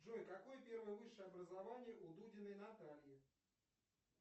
джой какое первое высшее образование у дудиной натальи